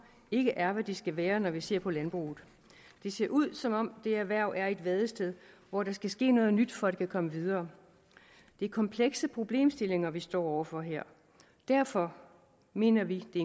ikke er hvad de skal være når vi ser på landbruget det ser ud som om det erhverv er i et vadested hvor der skal ske noget nyt for at det kan komme videre det er komplekse problemstillinger vi står over for her derfor mener vi i